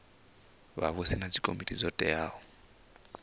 vhavhusi na dzikomiti dzo teaho